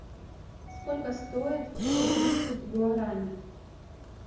сколько стоит сто тридцать гуарани